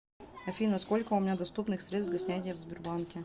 афина сколько у меня доступных средств для снятия в сбербанке